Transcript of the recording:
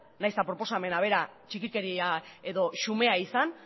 nahiz eta proposamena bera txikikeria edo xumea izan